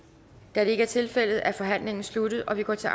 da det ikke er tilfældet er forhandlingen sluttet og vi går til